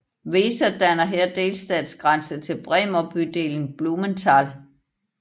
Weser danner her delstatsgrænse til Bremer bydelen Blumenthal